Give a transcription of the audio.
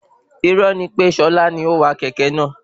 Irọ́ ni pè Ṣọlá ni ówà kẹ̀kẹ́ náà